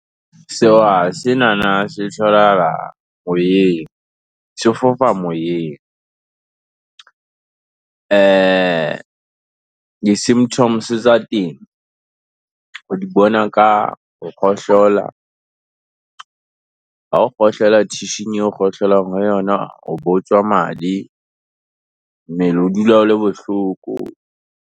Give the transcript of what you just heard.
senana se tholahla moyeng, se fofa moyeng. Di-symptoms tsa teng, o di bona ka ho kgohlola, ha o kgohlola tissue-ng eo kgohlelang ho yona, ho be hotswa madi, mmele o dula o le bohloko.